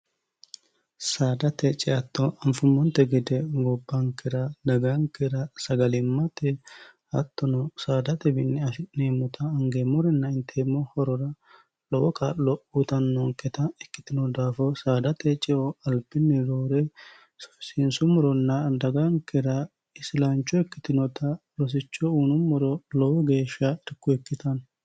saadate ciatto anfummonte gide gobbaankira dagaankeira sagalimmate hattono saadate binni ashi'neemmota angeemmorinna inteemmo horora lowo kaa'lo utannoonketa ikkitino daafo saadate ceo alpinni doore sfisiinsummuronna dagaankira isilaancho ikkitinota rosicho uunummoro lowo geeshsha dikku ikkitanno